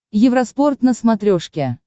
евроспорт на смотрешке